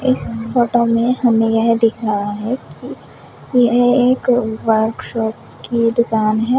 इस फोटो में हमें यह दिख रहा है यह एक वर्कशॉप की दुकान है।